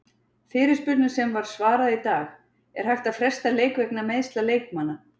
Fyrirspurnum sem var svarað í dag:- Er hægt að fresta leik vegna meiðsla leikmanna?